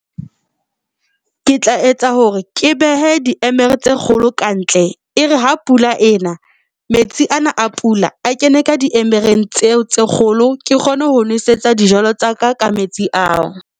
Ke tla etsa hore ke behe diemere tse kgolo ka ntle. E re ha pula ena, metsi ana a pula a kene ka diemereng tseo tse kgolo, ke kgone ho nosetsa dijalo tsa ka ka metsi ao.